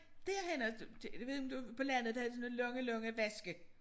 Derhenne jeg ved ikke om du på landet der havde de sådan nogle lange lange vaske